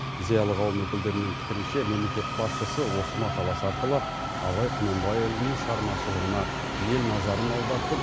зиялы қауым өкілдерінің пікірінше мемлекет басшысы осы мақаласы арқылы абай құнанбайұлының шығармашылығына ел назарын аудартып